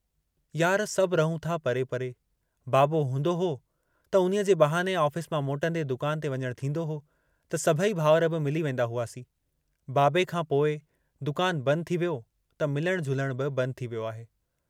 यार, सभ रहूं था परे परे, बाबो हूंदो हो त उन्हीअ जे बहाने ऑफिस मां मोटंदे दुकान ते वञण थींदो हो त सभेई भाउर बि मिली वेन्दा हुआसीं, बाबे खां पोइ दुकान बंद थी वियो त मिलण झुलण बि बंद थी वियो आहे।